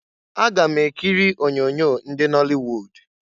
Aga m ekiri onyoonyo ndị nọlịwud.